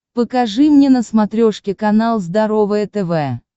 покажи мне на смотрешке канал здоровое тв